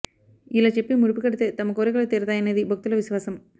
ఇలా చెప్పి ముడుపు కడితే తమ కోరికలు తీరుతాయనేది భక్తుల విశ్వాసం